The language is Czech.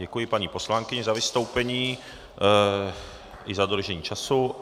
Děkuji paní poslankyni za vystoupení i za dodržení času.